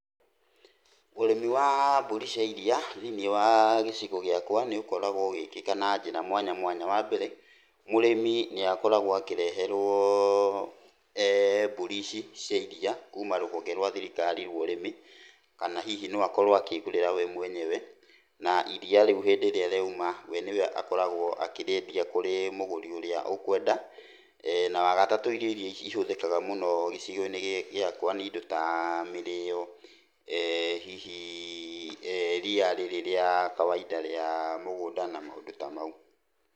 Ũrĩmi wa mbũri cia iria, thĩiniĩ wa gĩcigo gĩakwa, nĩ ũkorwo ũgĩkĩka na njĩra mwanya mwanya. Wa mbere, mũrĩmi nĩakoragwo akĩreherwo mbũri ici cia iriia kuuma rũhonge rwa thirikari rwa ũrĩmi, kana hihi no akorwo akĩĩgũrĩra we mwenyewe, na iriia rĩu hĩndĩ ĩrĩa rĩauma we nĩwe akoragwo akĩríĩndia kwĩ mũgũri ũrĩa ũkwenda, na wa gatatũ irio iria ihũthĩkaga mũno gĩcigo-inĩ gĩkĩ gĩakwa nĩ indo ta mĩrĩo, hihi ria rĩrĩ rĩa kawaida rĩa mũgũnda na maũndũ ta mau.